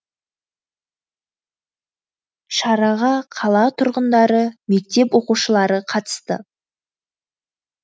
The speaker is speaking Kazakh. шараға қала тұрғындары мектеп оқушылары қатысты